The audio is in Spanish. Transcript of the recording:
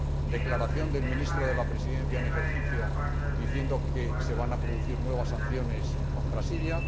declaración del Ministro de la Presidencia en ejercicio del Consejo, diciendo que se van a producir nuevas sanciones contra Siria